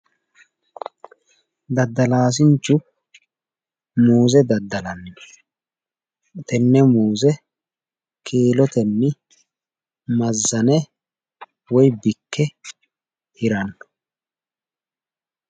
Daddallaasinchu muuze daddallannino tenne muuze kiillotenni mazane woyi bikke hirano.